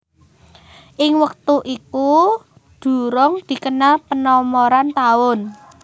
Ing wektu itu durung dikenal penomoran taun